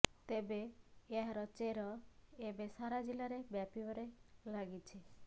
ତେବେ ଏହାର ଚେର ଏବେ ସାରା ଜିଲ୍ଲାରେ ବ୍ୟାପିବାରେ ଲାଗିଛି